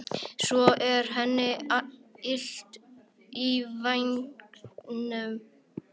Svo er henni illt í vængnum.